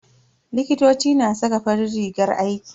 Likitoci na saka farin rigar aiki.